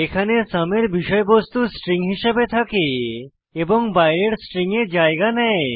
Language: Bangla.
এখানে সুম এর বিষয়বস্তু স্ট্রিং হিসেবে থাকে এবং বাইরের স্ট্রিং এ জায়গা নেয়